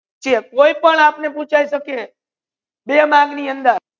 કોઈ પણ આપને પૂછાઈ સકે બે marks ની અંદર